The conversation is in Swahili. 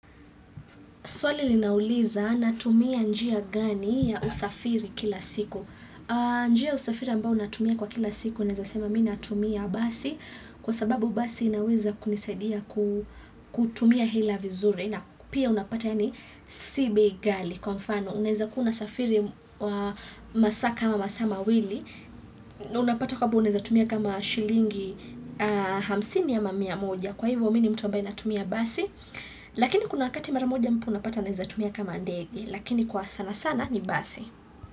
Swali linauliza natumia njia gani ya usafiri kila siku. Njia ya usafiri ambao natumia kwa kila siku naeza sema mi natumia basi kwa sababu basi inaweza kunisadia kutumia hela vizuri. Pia unapata yaani si bei ghali kwa mfano unaezakuwa unsafiri masaa kama masaa mawili. Unapata kwamba unaezatumia kama shilingi hamsini ama mia moja kwa hivyo mimi ni mtu ambaye natumia basi. Lakini kuna wakati mara moja mtu unapata anaeza tumia kama ndege lakini kwa sana sana ni basi.